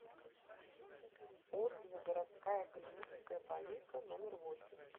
отзывы городская клиническая больница номер восемь